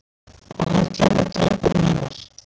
Og hann kemur drengurinn hennar.